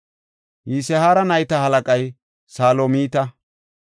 Yisihaara nayta halaqay Salomita.